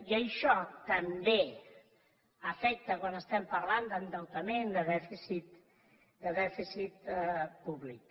i això també afecta quan estem parlant d’endeutament de dèficit públic